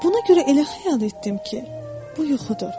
Buna görə elə xəyal etdim ki, bu yuxudur.